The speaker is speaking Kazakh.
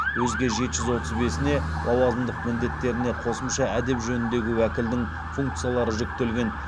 өзге жеті жүз отыз бесіне лауазымдық міндеттеріне қосымша әдеп жөнідегі уәкілдің функциялары жүктелген